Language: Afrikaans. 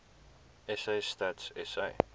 sa stats sa